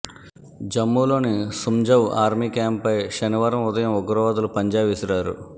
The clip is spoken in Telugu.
జమ్మూలోని సుంజవ్ ఆర్మీ క్యాంప్పై శనివారం ఉదయం ఉగ్రవాదులు పంజా విసిరారు